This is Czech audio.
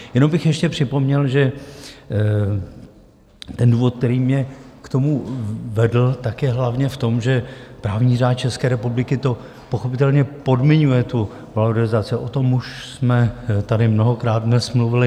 Jenom bych ještě připomněl, že ten důvod, který mě k tomu vedl, tak je hlavně v tom, že právní řád České republiky to pochopitelně podmiňuje, tu valorizaci, o tom už jsme tady mnohokrát dnes mluvili.